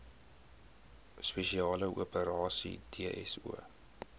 spesiale operasies dso